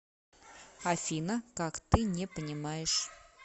афина как ты не понимаешь